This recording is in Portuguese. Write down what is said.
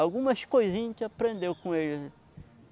Algumas coisinhas a gente aprendeu com ele.